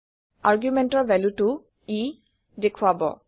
আৰগুমেণ্টৰ ভেলুটো ই দেখোৱাব